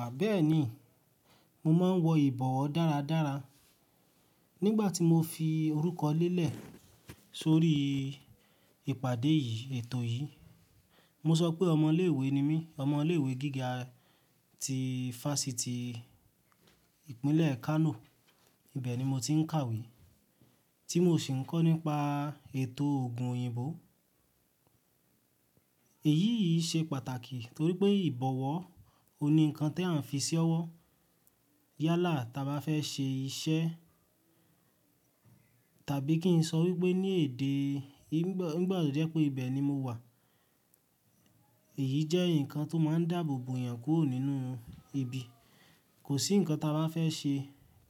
Àbẹ́ẹ́ni, mo máa ń wọ ìbọwọ́ dáradára. Nígbàtí mo fi orúkọ lé lẹ̀ sórí ìpàdé yìí, ètò yìí, mo sọ pé ọmọ ilé ìwé ni mí, ọmọ ilé ìwé gíga ti Fásitì ìpínlẹ̀ Kano, ibẹ̀ ni mo ti ń kàwé, tí mo sì ń kọ́ nípa ètò òògùn òyìnbó. Èyí yìí ṣe pàtàkì torí pé ìbọwọ́, òun ni nǹkan tí à ń fi ṣẹ́wọ́ yálà taba fẹ́ ṣe iṣẹ́ tàbí kí n sọ wípé ní èdè Ìgbò, nígbà tó rẹ pé ibẹ̀ ni mo wà, èyí jẹ́ nǹkan tó máa ń dáàbòbò èèyàn kúrò nínú ibi. Kò sí nǹkan taba fẹ́ ṣe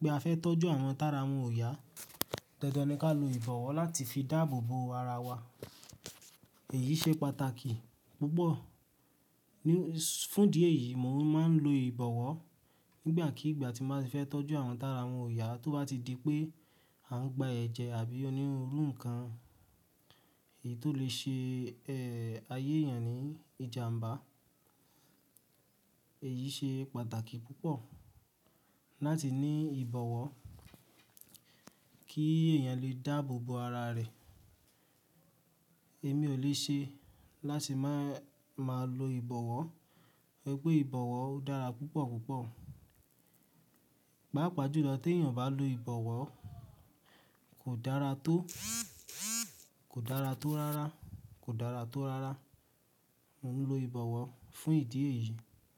pé a fẹ́ tọ́jú àwọn tára wọn ò yá, dandan ni ká lo ìbọwọ́ láti fi dáàbòbò ara wa. Èyí ṣe pàtàkì púpọ̀. Fún ìdí èyí, mò ń máa ń lo ìbọwọ́ nígbàkigba tí màá fẹ́ tọ́jú àwọn tára wọn ò yá tó bá ti di pé à ń gba ẹ̀jẹ̀ àbí onírúurú nǹkan èyí tó lè ṣe, ẹ́, ayé èèyàn ní ìjàmbá. Èyí ṣe pàtàkì púpọ̀ láti ní ìbọwọ́ kí èèyàn lè dáàbòbò ara rẹ̀. Èmi ò lè ṣe láti má máa lo ìbọwọ́. Ri pé ìbọwọ́ dára púpọ̀ púpọ̀. Páàpáà jùlọ tí èèyàn bá lo ìbọwọ́ kò dára tó, kò dára tó rárá, kò dára tó rárá. Mo ń lo ìbọwọ́ fún ìdí èyí.